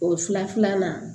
O fila filanan